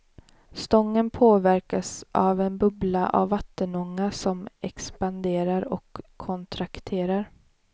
Stången påverkas av en bubbla av vattenånga som expanderar och kontrakterar.